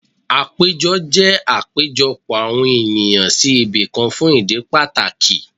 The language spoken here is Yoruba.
Àpéjọ jẹ́ àpéjọpọ̀ àwọn ènìyàn sí ibìkan fún ìdí pàtàkì